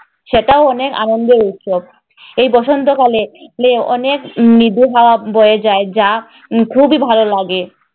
সেটাও অনেক আনন্দের উৎসব। এই বসন্তকালে লে অনেক মৃদু হাওয়া বয়ে যায় যা খুবই ভালো লাগে।